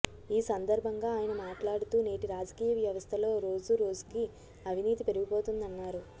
ఈ సందర్భంగా ఆయన మాట్లాడుతూ నేటి రాజకీయ వ్యవస్థలో రోజు రోజుకి అవినీతి పెరిగిపోతోందన్నారు